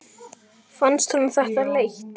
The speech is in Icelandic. Fannst honum þetta leitt?